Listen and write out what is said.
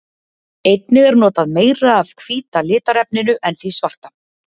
Einnig er notað meira af hvíta litarefninu en því svarta.